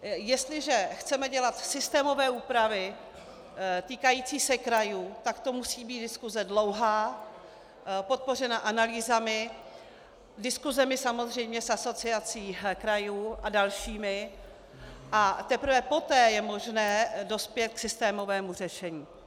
Jestliže chceme dělat systémové úpravy týkající se krajů, tak to musí být diskuse dlouhá, podpořená analýzami, diskusemi samozřejmě s Asociací krajů a dalšími, a teprve poté je možné dospět k systémovému řešení.